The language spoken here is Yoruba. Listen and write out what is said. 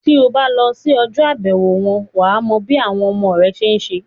Tí o bá lọ sí ọjọ́-àbẹ̀wò wọn, wà á mọ bí àwọn ọmọ rẹ ṣe ń se.